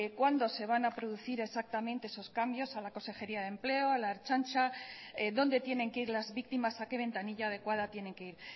cuándo se van a producir exactamente esos cambios a la consejería de empleo a la ertzaintza dónde tienen que ir las víctimas a qué ventanilla adecuada tienen que ir